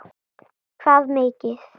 Hvað mikið?